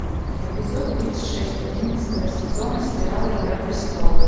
эпизод тридцать шесть одиннадцатого сезона сериала игра престолов